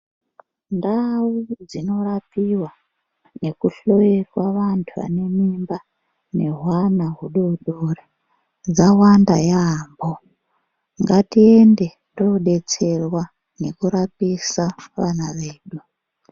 Ndawo dzinorapiwa nekuhloyewa vantu vanemimba nehwana wudodori dzawanda yamo. Ngatiende todetserwa nekurapisa vana vedu.